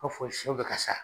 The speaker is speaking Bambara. I b'a fɔ siyɛw bɛ ka sa.